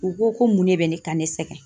U ko ko mun ne be ka ne sɛgɛn?